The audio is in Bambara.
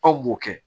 Anw b'o kɛ